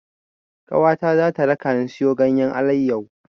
Ƙawata za ta rakani siyo ganyen alayyahu.